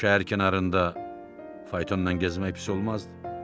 Şəhər kənarında faytonla gəzmək pis olmazdı.